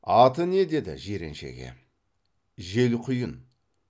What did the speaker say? аты не деді жиреншеге желқұйын